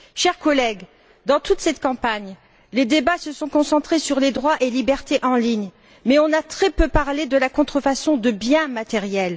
Chers collègues, dans toute cette campagne, les débats se sont concentrés sur les droits et libertés en ligne, mais on n'a très peu parlé de la contrefaçon de biens matériels.